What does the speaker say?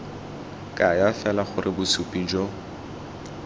kaya fela gore bosupi jo